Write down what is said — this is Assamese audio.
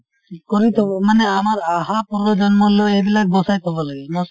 কৰি থব। মানে আমাৰ আহা পূৰ্বজন্মলৈ এইবিলাক বচাই থব লাগিব